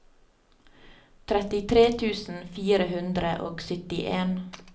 trettitre tusen fire hundre og syttien